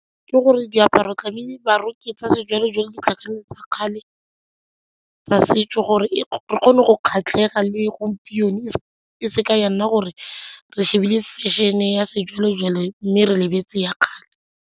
Ke gore diaparo tlamehile ba roke tsa sejwalejwale di tlhakane le tsa kgale tsa setso gore re kgone go kgatlhega le gompieno e seke ya nna gore re shebile fashion-e ya sejwalejwale mme re lebetse ya kgale.